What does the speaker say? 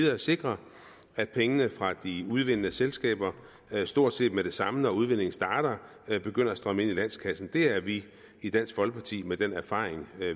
at sikre at pengene fra de udvindende selskaber stort set med det samme når udvindingen starter begynder at strømme ind i landskassen det er vi i dansk folkeparti med den erfaring